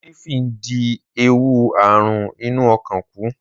Ólífì ń dín ewu àrùn inú ọkàn kù.